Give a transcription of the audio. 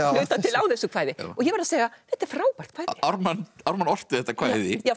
á þessu kvæði og ég verð að segja þetta er frábært kvæði Ármann Ármann orti þetta kvæði já